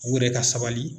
U yɛrɛ ka sabali